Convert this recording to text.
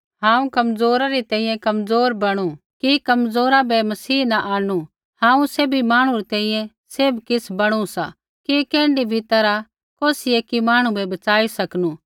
हांऊँ कमज़ोरा री तैंईंयैं कमज़ोर बणु कि कमज़ोर बै मसीह न आंणनु हांऊँ सैभी मांहणु री तैंईंयैं सैभ किछ़ बणु सा कि कैण्ढी भी तैरहा कौसी ऐकी मांहणु बै बच़ाई सकनू